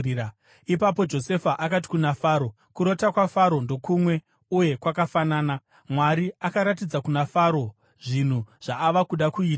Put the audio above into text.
Ipapo Josefa akati kuna Faro, “Kurota kwaFaro ndokumwe uye kwakafanana. Mwari akaratidza kuna Faro zvinhu zvaava kuda kuita.